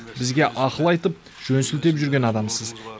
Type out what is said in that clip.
бізге ақыл айтып жөн сілтеп жүрген адамсыз